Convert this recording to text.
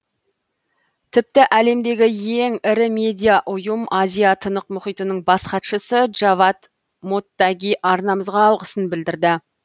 тіпті әлемдегі ең ірі медиа ұйым азия тынық мұхитының бас хатшысы джавад моттаги арнамызға алғысын білдірді